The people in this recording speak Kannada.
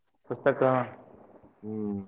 ಪುಸ್ತಕ.